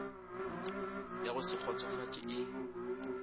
ya go se kgotšofatše e